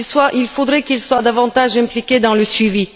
Il faudrait qu'il soit davantage impliqué dans le suivi.